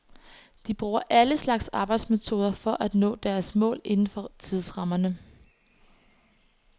De bruger alle slags arbejdsmetoder for at nå deres mål indenfor tidsrammerne.